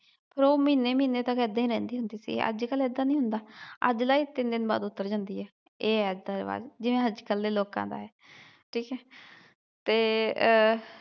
ਤੇ ਫਿਰ ਉਹ ਮਹੀਨੇ ਮਹੀਨੇ ਤਕ ਏਦਾਂ ਈ ਰਹਿੰਦੀ ਹੁੰਦੀ ਸੀ ਅਜਕਲ ਏਦਾਂ ਨਹੀਂ ਹੁੰਦਾ ਅੱਜ ਲਾਈ ਤਿੰਨ ਦਿਨ ਬਾਅਦ ਉਤਰ ਜਾਂਦੀ ਏ ਇਹ ਆ ਅੱਜ ਦਾ ਰਿਵਾਜ਼ ਜਿਵੇ ਅਜਕਲ ਦੇ ਲੋਕਾ ਦਾ ਏ ਠੀਕ ਏ ਤੇ ਅਹ